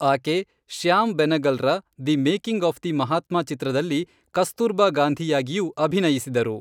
ಆಕೆ ಶ್ಯಾಮ್ ಬೆನಗಲ್ರ the making of the Mahatma ಚಿತ್ರದಲ್ಲಿ ಕಸ್ತೂರ್ಬಾ ಗಾಂಧಿಯಾಗಿಯೂ ಅಭಿನಯಿಸಿದರು.